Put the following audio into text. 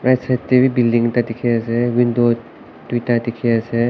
right side tae bi building ekta dikhi ase window tuita dikhiase.